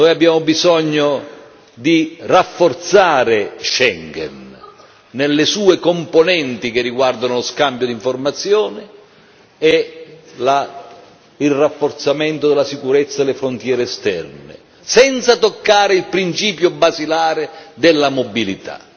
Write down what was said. Abbiamo bisogno di rafforzare Schengen, nelle sue componenti che riguardano lo scambio di informazioni e il rafforzamento della sicurezza e le frontiere esterne, senza toccare il principio basilare della mobilità.